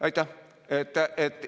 Aitäh!